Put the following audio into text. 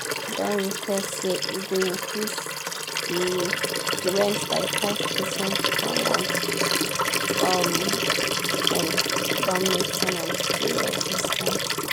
don request say e go increase the the rent by five percent for month um end don make ten ants dey resistant.